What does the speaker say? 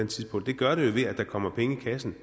tidspunkt det gør det jo ved at der kommer penge i kassen